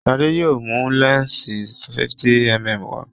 Shade yóò mú lẹnsi 50mm wá.